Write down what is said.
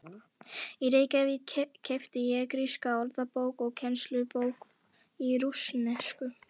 Í Reykjavík keypti ég gríska orðabók og kennslubók í rússnesku.